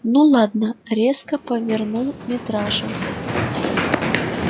ну ладно резко повернул митраша